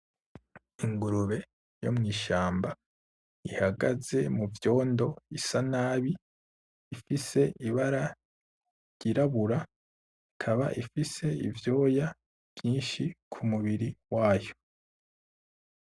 Ingurube yo mw'ishamba ihagaze muvyondo, isa nabi ifise ibara ry'irabura, ikaba ifise ivyoya vyinshi kumubiri wayo.